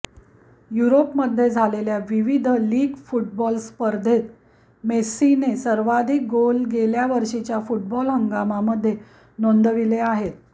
युरोपमध्ये झालेल्या विविध लीग फुटबॉल स्पर्धेत मेस्सीने सर्वाधिक गोल गेल्या वर्षीच्या फुटबॉल हंगामामध्ये नोंदविले आहेत